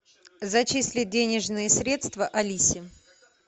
зачислить денежные средства алисе